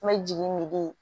N bɛ jigin misi